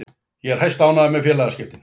Ég er hæstánægður með félagaskiptin.